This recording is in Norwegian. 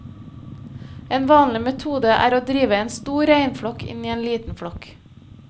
En vanlig metode er å drive en stor reinflokk inn i en liten flokk.